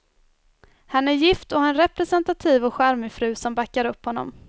Han är gift och har en representativ och charmig fru som backar upp honom.